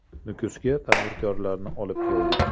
“Nukusga tadbirkorlarni olib keldik.